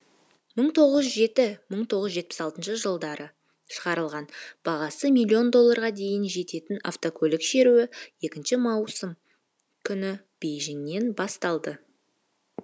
мың тоғыз жүз жеті мың тоғыз жүз жетпіс алтыншы жылдары шығарылған бағасы миллион долларға дейін жететін автокөлік шеруі екінші маусым күні бейжіңнен басталды